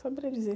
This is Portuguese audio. Saberia dizer.